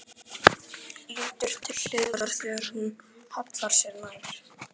Lítur til hliðar þegar hún hallar sér nær.